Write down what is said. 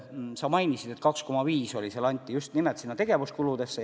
Sa mainisid 2,5% ja nii palju just nimelt tegevuskuludeks juurde anti.